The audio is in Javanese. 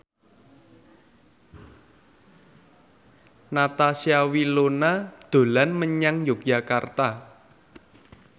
Natasha Wilona dolan menyang Yogyakarta